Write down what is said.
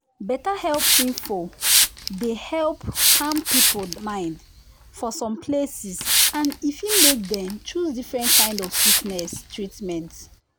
better health info dey help calm people mind for some places and e fit make dem choose different kind of different kind of treatment.